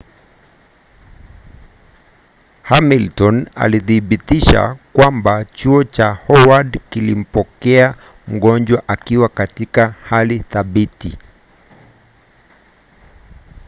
hamilton alithibitisha kwamba chuo cha howard kilimpokea mgonjwa akiwa katika hali thabiti